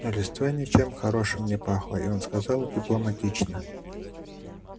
но листва ничем хорошим не пахла и он сказал дипломатично